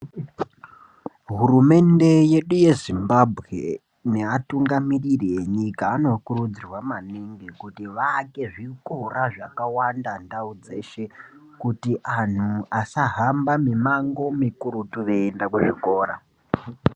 Hurumende yedu yezimbabwe nevatingamiriri venyika vanokurudzirwa maningi kuti vanenge vane zvikora zvakawanda mundau dzeshe kuti antu asafamba mumango wakati mikurutu veienda kuzvikora.